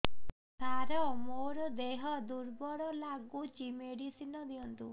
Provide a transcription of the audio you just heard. ସାର ମୋର ଦେହ ଦୁର୍ବଳ ଲାଗୁଚି ମେଡିସିନ ଦିଅନ୍ତୁ